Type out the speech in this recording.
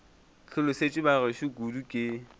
hlolosetšwe ba gešo kudu ke